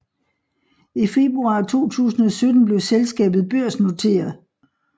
I februar 2017 blev selskabaet børsnotere